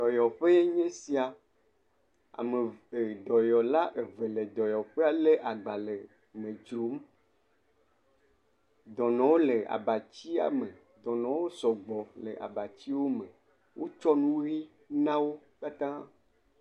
Dɔyɔƒee nye sia. Ame eve dɔyɔla eve le dɔyɔƒea le agbale me dzrom. Dɔnɔwo le abatsia me. Dɔnɔwo sɔgbɔ le abatsia me wotsɔ nu ʋi n wo katã.